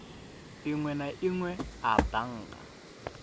inwe na inwe a bannga